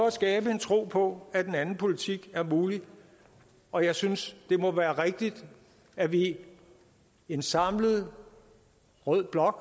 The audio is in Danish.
at skabe en tro på at en anden politik er mulig og jeg synes det må være rigtigt at vi i en samlet rød blok